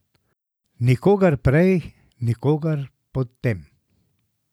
Nikogar prej, nikogar potem.